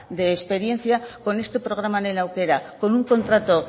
de experiencia con este programa lehen aukera con un contrato